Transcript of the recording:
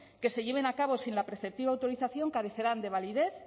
que se lleven a cabo sin la preceptiva autorización carecerán de validez